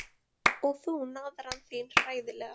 Og þú, naðran þín, hræðilega.